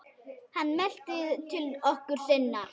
Hann mælti til konu sinnar: